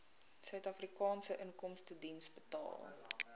suidafrikaanse inkomstediens betaal